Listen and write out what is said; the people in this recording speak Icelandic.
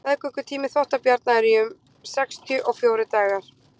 meðgöngutími þvottabjarna er í um sextíu og fjórir dagar